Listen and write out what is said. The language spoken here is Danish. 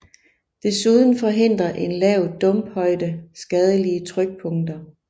Desuden forhindrer en lav dumphøjde skadelige trykpunkter